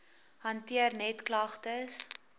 hanteer net klagtes